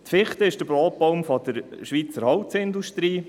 Die Fichte ist der Brotbaum der Schweizer Holzindustrie.